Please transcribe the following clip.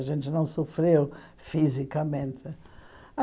A gente não sofreu fisicamente.